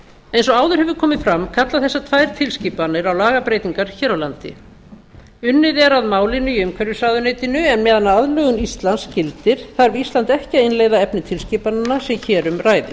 eins og áður hefur komið fram kalla þessar tvær tilskipanir á lagabreytingar hér á landi unnið er að málinu í umhverfisráðuneytinu en á meðan aðlögun íslands gildir þarf ísland ekki að innleiða efni tilskipananna sem hér um ræðir